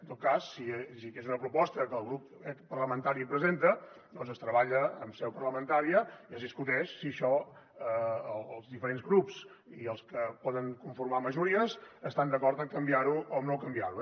en tot cas si hi hagués una proposta que el grup parlamentari presenta doncs es treballa en seu parlamentària i es discuteix si això els diferents grups i els que poden conformar majories estan d’acord a canviar ho o no canviar ho